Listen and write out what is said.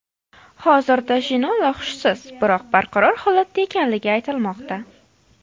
Hozirda Jinola hushsiz, biroq barqaror holatda ekanligi aytilmoqda.